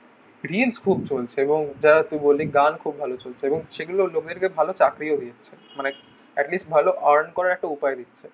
reels খুব চলছে এখন এবং যা বলি গান খুব ভালো চলছে এবং লোকের কে ভালো চাকরি ও দিচ্ছে মানে at least ভালো earn করার উপায় ও দিচ্ছে